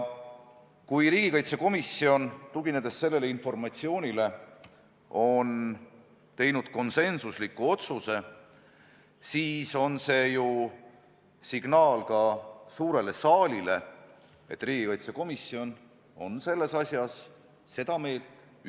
Kui riigikaitsekomisjon on teinud sellele infole tuginedes konsensusliku otsuse, siis on see ju ka signaal suurele signaalile, et riigikaitsekomisjon on selles asjas ühte meelt.